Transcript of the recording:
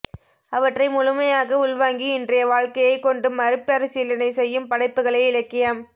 அவற்றை முழுமையாக உள்வாங்கி இன்றைய வாழ்க்கையை கொண்டு மறுபசீலனை செய்யும் படைப்புகளே இலக்கியம்